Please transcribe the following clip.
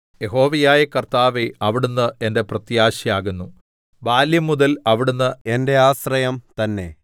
യഹോവയായ കർത്താവേ അവിടുന്ന് എന്റെ പ്രത്യാശയാകുന്നു ബാല്യംമുതൽ അവിടുന്ന് എന്റെ ആശ്രയം തന്നേ